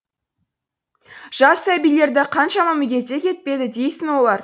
жас сәбилерді қаншама мүгедек етпеді дейсің олар